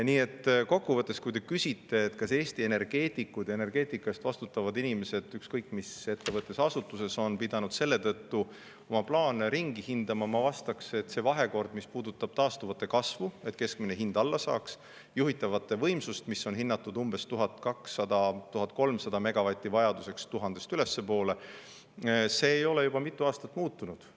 Nii et kokkuvõttes, kui te küsite, kas Eesti energeetikud ja energeetika eest vastutavad inimesed ükskõik mis ettevõttes-asutuses on pidanud selle tõttu oma plaane ringi hindama, siis ma vastaks, et see vahekord, mis puudutab taastuva energia tarbimise kasvu, et keskmine hind alla saaks, ja juhitavaid võimsusi, mille vajaduseks on hinnatud 1200–1300 megavatti, igatahes 1000-st ülespoole, ei ole juba mitu aastat muutunud.